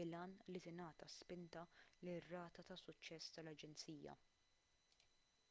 bil-għan li tingħata spinta lir-rata ta' suċċess tal-aġenzija